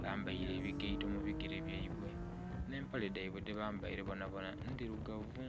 bambaire ebigaito mubigere byaibwe n'empale dhaibwe dhebambaire bonabona ndhirugavu.